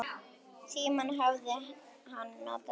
Tímann hafði hann notað vel.